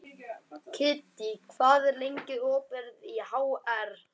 Kiddý, hvað er lengi opið í HR?